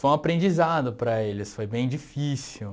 Foi um aprendizado para eles, foi bem difícil.